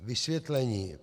Vysvětlení.